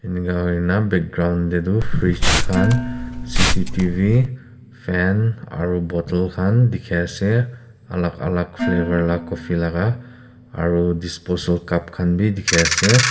enika hoi na background te tu frige khan C_C_T_V fan aru bottle khan dikhi ase alak alak flavour la coffee laga aru disposal cup khan bi dikhi ase.